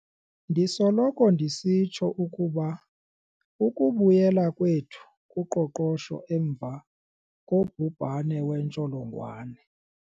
Ndisoloko ndisitsho ukuba ukubuyela kwethu kuqoqosho emva kobhubhane wentsholongwane